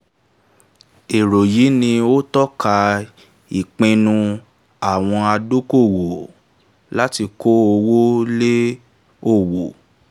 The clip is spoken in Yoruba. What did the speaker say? èrò yìí ni ó tọ́ka ìpinnu àwọn adókòwò láti kó owó lé òwò.